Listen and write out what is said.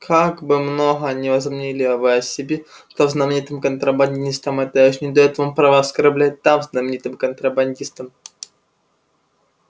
как бы много ни возомнили вы о себе став знаменитым контрабандистом это ещё не даёт вам права оскорблять дам знаменитым контрабандистом